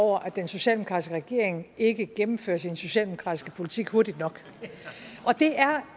over at den socialdemokratiske regering ikke gennemfører sin socialdemokratiske politik hurtigt nok